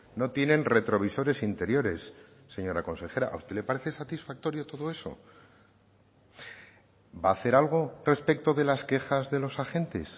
no tienen retrovisores interiores señora consejera a usted le parece satisfactorio todo eso va a hacer algo respecto de las quejas de los agentes